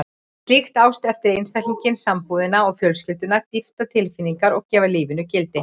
Slík ást eflir einstaklinginn, sambúðina og fjölskylduna, dýpkar tilfinningar og gefur lífinu gildi.